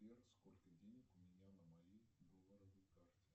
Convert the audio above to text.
сбер сколько денег у меня на моей долларовой карте